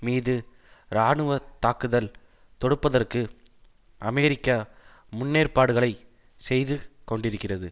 மீது இராணுவ தாக்குதல் தொடுப்பதற்கு அமெரிக்கா முன்னேற்பாடுகளை செய்து கொண்டிருக்கிறது